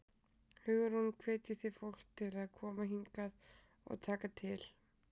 Hugrún: Hvetjið þið fólk til að koma hingað og taka til?